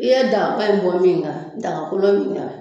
I ye dagaba in bɔ min da la daga kolon kun tɛ wa ?